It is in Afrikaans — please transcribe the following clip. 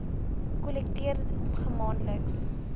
gems kollekteer maandeliks